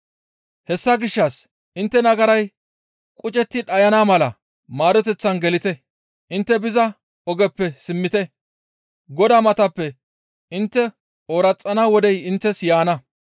Hessa gishshas intte nagaray qucetti dhayana mala maaroteththan gelite; intte biza ogeppe simmite; Godaa matappe intte ooraxana wodey inttes yaana.